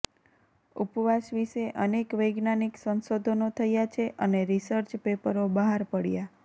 ઉપવાસ વિષે અનેક વૈજ્ઞાનિક સંશોધનો થયાં છે અને રિસર્ચ પેપરો બહાર પડ્યાં